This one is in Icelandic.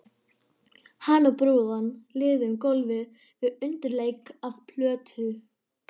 Hann og brúðan liðu um gólfið við undirleik af plötu.